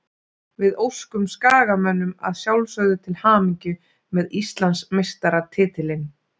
Við óskum Skagamönnum að sjálfsögðu til hamingju með Íslandsmeistaratitilinn.